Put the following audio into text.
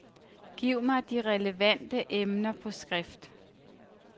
Giv mig de relevante emner på skrift.